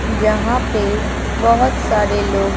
जहां पे बहुत सारे लोग--